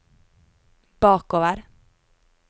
bakover